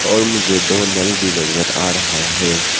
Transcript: और मुझे दो नल भी नजर आ रहा है।